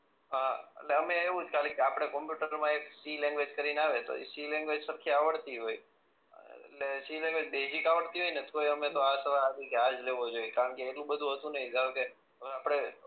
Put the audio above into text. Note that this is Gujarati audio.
અ એટલે અમને એવું જ ખાલી કે આપણે કોમ્પ્યુટર પ્રમાણે સી લેન્ગવેજ કરી ને આવે તો ઈ સી લેન્ગવેજ સરખી આવડતી હોય એટલે સી લેંગ્વેજ બેઝીક આવડતી હોય ને તોય અમને તો આ આવડી જાય તો આ જ લેવું જોઈએ કારણ કે એટલુ બધું હતું નહી કારણ કે